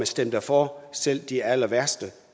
stemte for selv de allerværste